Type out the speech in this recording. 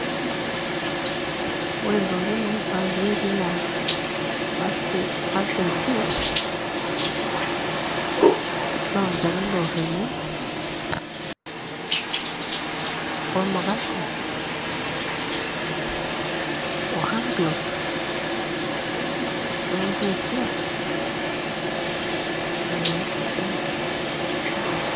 Ore ntokitin naifaa petii na first aid kit na olchani loar emion wemukase o handgloaves we mpusua, ninche ake.